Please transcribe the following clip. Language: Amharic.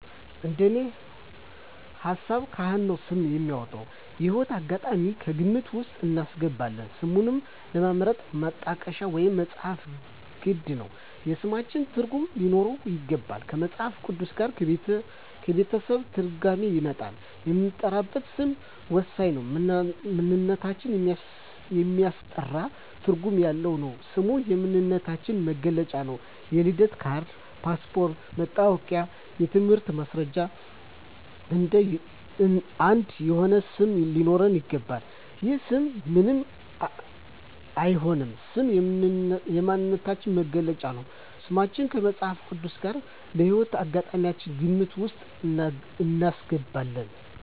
እንደኔ ሀሳብ ካህን ነው ስም የሚያወጣው። የህይወት አጋጣሚም ከግምት ውስጥ እናስገባለን ስምን ለመምረጥ ማጣቀሻ ወይም መፅሀፍት ግድ ነው የስሞችን ትርጉም ሊኖረው ይገባል ከመፅሀፍ ቅዱስ ጋር ከቤተሰብ ትርጓሜ ይወጣል የምንጠራበት ስም ወሳኝ ነው ማንነታችን የሚያስጠራ ትርጓሜ ያለው ነው ስም የማንነታችን መግለጫ ነው የልደት ካርድ ,ፓስፓርቶች ,መታወቂያ የትምህርት ማስረጃችን አንድ የሆነ ስም ሊኖረው ይገባል። ያለ ስም ምንም አይሆንም ስም የማንነታችን መገለጫ ነው። ስማችን ከመፅሀፍ ቅዱስ ጋር ከህይወት አጋጣሚያችን ግምት ውስጥ እናስገባለን